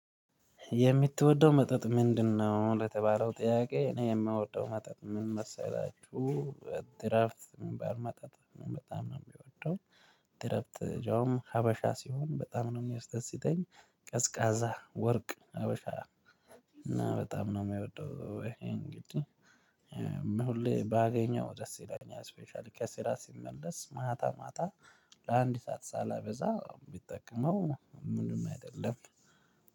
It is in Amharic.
የምትወደው መጠጥ ምንድንነው? ለተባለው ጥያቄ እኔ የምወደው መጠጥ ምን መሰላችሁ። ድራፍት ሚባል መጠጥ በጣም ነው የሚወደው። ድራፍት ያውም ሀበሻ ሲሆን በጣም ነው የሚያስደስተኝ ቀዝቃዛ ወርቅ አበሻ። እና በጣም ነው የሚወደው ይሄን እንግዲህ እና ሁሌ ባገኘው ደስ ይለኛል። ስፔሻሊ ከስራ ሲመለስ ማታ ማታ ለአንድ ሰዓት ሳላበዛ ብጠቀመው ምንም አይደለም።